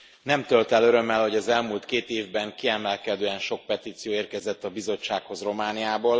Elnök Úr! Nem tölt el örömmel, hogy az elmúlt két évben kiemelkedően sok petíció érkezett a bizottsághoz Romániából.